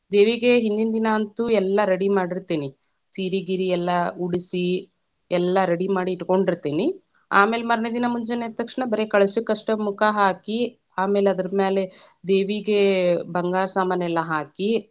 ದೇವಿಗೆ ಹಿಂದಿಂದಿನಾ ಅಂತೂ ಎಲ್ಲಾ ready ಮಾಡಿರತೇನಿ, ಸೀರಿ ಗೀರಿ ಎಲ್ಲಾ ಉಡಸಿ, ಎಲ್ಲಾ ready ಮಾಡಿ ಇಟ್ಕೊಂಡಿರತೇನಿ, ಅಮೇಲೆ ಮನೇ೯ದಿನಾ ಮುಂಜೆನೆ ಎದ್ದ ತಕ್ಷಣ ಬರೇ ಕಳಶಕ್ಕಷ್ಟ ಮುಖ ಹಾಕಿ, ಆಮೇಲೆ ಅದರ ಮೇಲೆ ದೇವಿಗೆ ಬಂಗಾರ ಸಾಮಾನೆಲ್ಲಾ ಹಾಕಿ.